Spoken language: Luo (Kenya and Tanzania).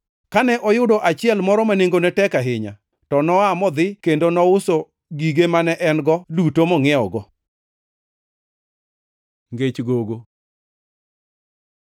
Kane oyudo achiel moro ma nengone tek ahinya to noa modhi kendo nouso gige mane en-go duto mongʼiewego. Ngech gogo